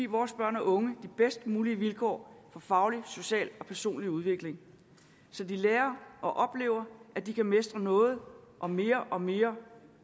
vores børn og unge de bedst mulige vilkår for faglig social og personlig udvikling så de lærer og oplever at de kan mestre noget og mere og mere